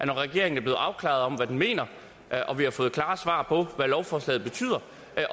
regeringen er blevet afklaret om hvad den mener og vi har fået klare svar på hvad lovforslaget betyder